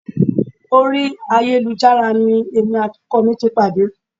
Orí ayélujára ni èmi àti ọkọ mi ti pàdé